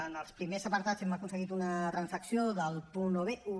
en els primers apartats hem aconseguit una transacció del punt un